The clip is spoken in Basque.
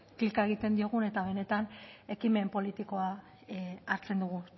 klika egiten diogun eta benetan ekimen politikoa hartzen dugun